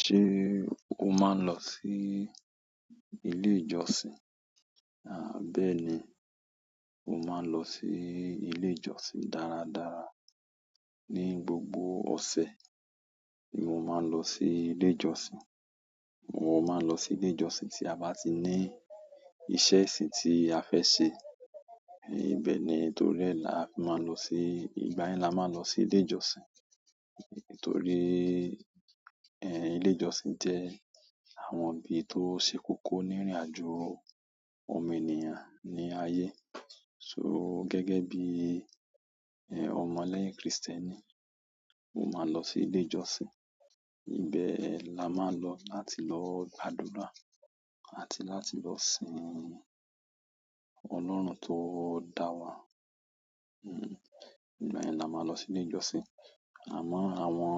Ṣé o máa ń lọ sí ilé ìjọsìn? À báì ni, mo máa ń lọ sí ilé ìjọsìn dáradára. Ni gbogbo ose ni mo maa n losi ile ìjọsìn. Mo mo máa ń lọ sí ilé ìjọsìn tí a bá ti ní ìṣe ẹṣin tí a fẹ́ ṣe. Ibe ni, to ri e la fi maa n losi, ìgbà yen la maa losi ile ìjọsìn. Nítorí, ẹ́, ilé ìjọsìn jẹ́ àwọn ibi tó ṣe kókó nírìnàjò òmìnìyàn ní ayé. So gegibi ọmọ lẹ́yìn Kristeni, mo maa n lo si ile ìjọsìn. Ìbẹ́ la máa lọ láti lọ gbàdúrà àti láti lọ sìn Ọlọ́run tó dà wa. Hmm, ìgbà yẹn la máa lọ sí ilé ìjọsìn. Àmọ́ àwọn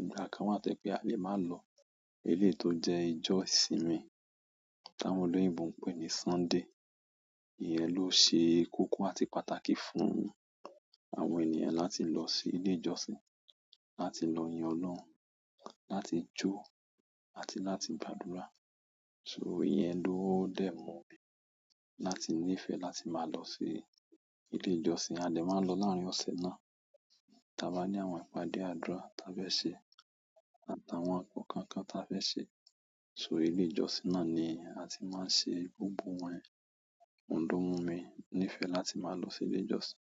ìgbà kan wà to je pé a lè máa lọ elé tó jẹ́ ìjọ́ sì mi ta won oloyinbo ń pè ní Sunday. Iyẹn ló ṣe kókó àti pàtàkì fún àwọn ènìyàn láti lọ sí ilé ìjọsìn, láti lọ yan Ọlọ́run, láti jó àti láti gbàdúrà. So iye ẹ́ ló dẹ́ mọ mí láti níìfẹ̀ láti máa lọ sí ilé ìjọsìn. A dè máa lọ láàárín ọ̀sẹ̀ náà, tí a bá ní àwọn ìpàdé àdúrà tí a fẹ́ ṣe àtàwọn ǹkan kan tí a fẹ́ sẹ. So ilé ìjọsìn náà ni a ti máa ń ṣe gbogbo wọ́n yen. Oun lo mu mi láti nífẹ̀ẹ́ láti ma lo si ile ìjọsìn.